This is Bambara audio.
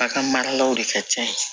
A ka mara la o de ka can yen